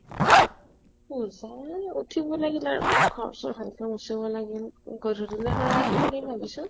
পূজা, উঠিব লাগিলে আৰু। ঘৰ চৰ সাজি মোছিব লাগিল। গধূলিলৈ সৰাই এখন দিম ভাবিছো।